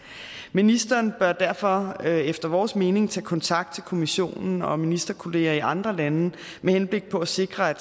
ministeren bør derfor efter vores mening tage kontakt til kommissionen og ministerkolleger i andre lande med henblik på at sikre